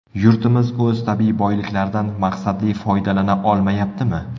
Yurtimiz o‘z tabiiy boyliklaridan maqsadli foydalana olmayaptimi?